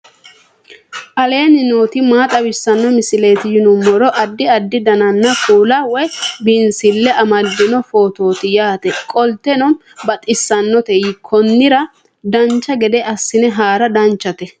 aleenni nooti maa xawisanno misileeti yinummoro addi addi dananna kuula woy biinsille amaddino footooti yaate qoltenno baxissannote konnira dancha gede assine haara danchate